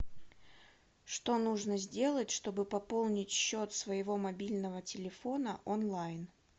что нужно сделать чтобы пополнить счет своего мобильного телефона онлайн